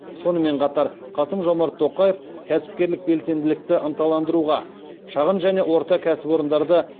сонымен қатар қасым жомарт тоқаев кәсіпкерлік белсенділікті ынталандыруға шағын және орта кәсіпорындарды